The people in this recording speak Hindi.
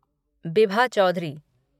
बिभा चौधुरी